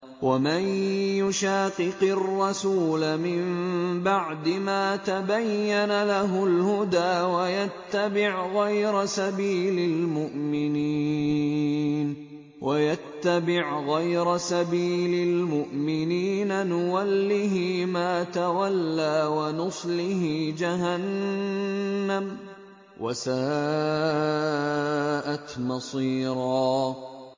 وَمَن يُشَاقِقِ الرَّسُولَ مِن بَعْدِ مَا تَبَيَّنَ لَهُ الْهُدَىٰ وَيَتَّبِعْ غَيْرَ سَبِيلِ الْمُؤْمِنِينَ نُوَلِّهِ مَا تَوَلَّىٰ وَنُصْلِهِ جَهَنَّمَ ۖ وَسَاءَتْ مَصِيرًا